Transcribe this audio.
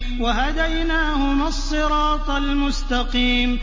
وَهَدَيْنَاهُمَا الصِّرَاطَ الْمُسْتَقِيمَ